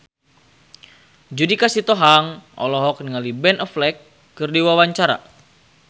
Judika Sitohang olohok ningali Ben Affleck keur diwawancara